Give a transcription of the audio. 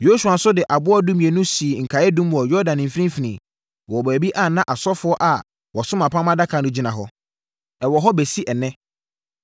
Yosua nso de aboɔ dumienu sii nkaeɛdum wɔ Yordan mfimfini wɔ baabi a na asɔfoɔ a wɔso apam Adaka no gyina hɔ. Ɛwɔ hɔ bɛsi ɛnnɛ.